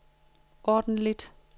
ordentligt